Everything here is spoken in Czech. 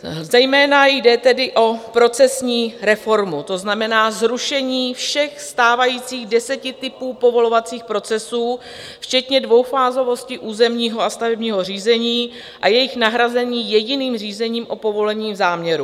Zejména jde tedy o procesní reformu, to znamená zrušení všech stávajících deseti typů povolovacích procesů včetně dvoufázovosti územního a stavebního řízení a jejich nahrazení jediným řízením o povolení záměru.